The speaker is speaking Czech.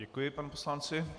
Děkuji panu poslanci.